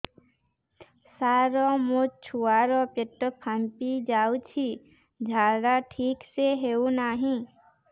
ସାର ମୋ ଛୁଆ ର ପେଟ ଫାମ୍ପି ଯାଉଛି ଝାଡା ଠିକ ସେ ହେଉନାହିଁ